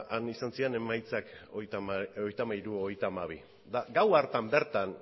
han izan ziren emaitzak hogeita hamairu hogeita hamabi gau hartan bertan